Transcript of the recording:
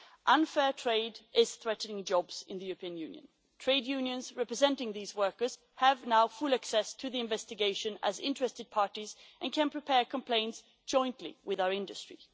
Unfair trade is threatening jobs in the European Union. Trade unions representing these workers now have full access to the investigation as interested parties and can prepare complaints jointly with our